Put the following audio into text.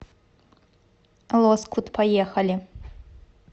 лоскут поехали